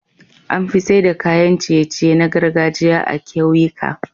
Anfi saida kayan ciye ciye na gargajiya a kyauyika